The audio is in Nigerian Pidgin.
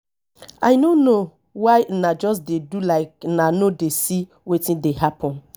i no know why una just dey do like una no dey see wetin dey happen